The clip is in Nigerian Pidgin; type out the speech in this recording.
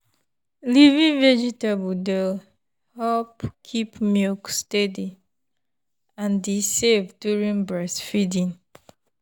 leafy veg dey help keep milk steady and e safe during breastfeeding.